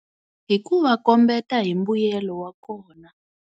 Hi ku va kombeta hi mbuyelo wa kona.